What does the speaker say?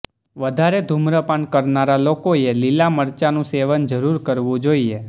વધારે ધુમ્રપાન કરનારા લોકોએ લીલા મરચાંનું સેવન જરૂર કરવું જોઈએ